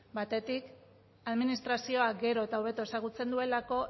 batetik administrazioak gero eta hobeto ezagutzen duelako